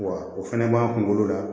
Wa o fɛnɛ b'an kunkolo la